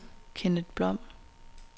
Kenneth Blom